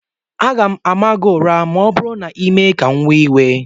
M ga-ama gị ụra ma ọ bụrụ na ị mee ka m wee iwe